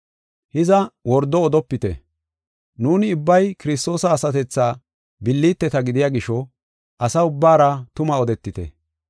Hiza, wordo odetofite. Nuuni ubbay Kiristoosa asatethaa billiteta gidiya gisho asa ubbaara tuma odetite.